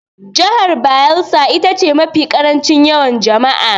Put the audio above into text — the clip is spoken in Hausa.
Jihar Bayelsa ita ce mafi ƙarancin yawan jama'a.